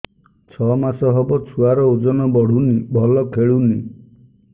ଛଅ ମାସ ହବ ଛୁଆର ଓଜନ ବଢୁନି ଭଲ ଖେଳୁନି